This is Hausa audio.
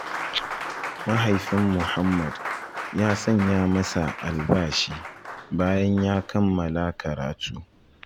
Mahaifin Muhammad ya sanya masa albashi, bayan ya kammala karatu.